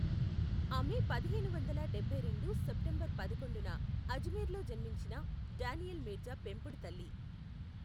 ఆమె పదిహేను వందల డబ్బై రెండు సెప్టెంబర్ పదకొండున అజ్మీర్లో జన్మించిన డానియల్ మీర్జా పెంపుడు తల్లి.